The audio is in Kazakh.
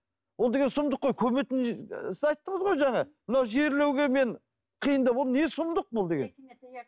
ол деген сұмдық қой көметін сіз айттыңыз ғой жаңа мынау жерлеуге мен қиындау болды не сұмдық бұл деген